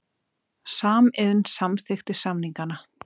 Samiðn samþykkti samningana